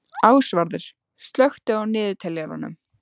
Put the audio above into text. Ásvarður, slökktu á niðurteljaranum.